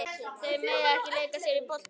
Þau mega ekki leika sér að bolta úti í garði.